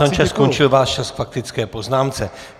Pane poslanče, skončil váš čas k faktické poznámce.